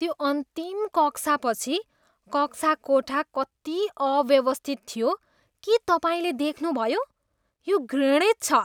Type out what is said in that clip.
त्यो अन्तिम कक्षापछि कक्षाकोठा कति अव्यवस्थित थियो के तपाईँले देख्नुभयो? यो घृणित छ।